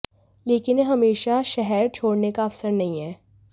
लेकिन यह हमेशा शहर छोड़ने का अवसर नहीं है